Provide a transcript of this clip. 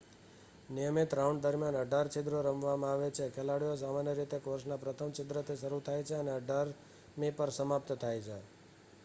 નિયમિત રાઉન્ડ દરમિયાન અઢાર છિદ્રો રમવામાં આવે છે ખેલાડીઓ સામાન્ય રીતે કોર્સના પ્રથમ છિદ્રથી શરૂ થાય છે અને અઢારમી પર સમાપ્ત થાય છે